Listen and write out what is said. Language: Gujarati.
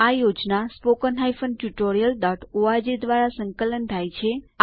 આ પ્રોજેક્ટ httpspoken tutorialorg દ્વારા સંકલન થાય છે